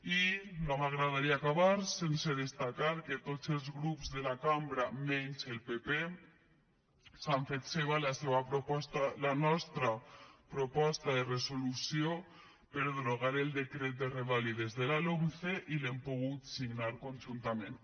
i no m’agradaria acabar sense destacar que tots els grups de la cambra menys el pp han fet seva la nostra proposta de resolució per derogar el decret de revàlides de la lomce i l’hem pogut signar conjuntament